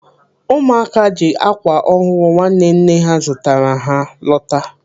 Ụmụaka ji ákwà ọhụrụ nwanne nne ha zụtara ha lọta.